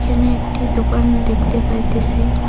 এখানে একটি দোকান দেখতে পাইতেসি।